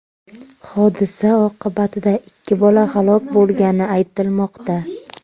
Hodisa oqibatida ikki bola halok bo‘lgani aytilmoqda.